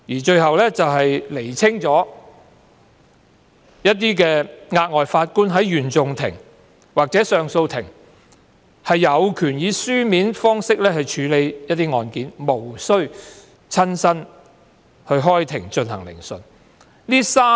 最後一項修訂，是釐清額外法官在原訟法庭或上訴法庭有權以書面方式處理案件，無須親身開庭進行聆訊。